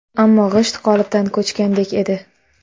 Ammo g‘isht qolipdan ko‘chgandek edi.